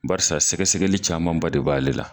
Barisa sɛgɛsɛgɛli camanba de b'ale la